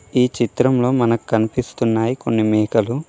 ఈ చిత్రంలో మనకు కనిపిస్తున్నాయి కొన్ని మేకలు.